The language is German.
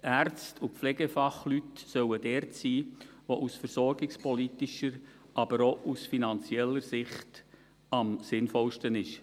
Die Ärzte und Pflegefachleute sollen dort sein, wo es aus versorgungspolitischer, aber auch aus finanzieller Sicht am sinnvollsten ist.